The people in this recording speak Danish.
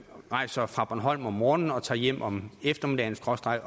rejser fra bornholm om morgenen og tager hjem om eftermiddagenaftenen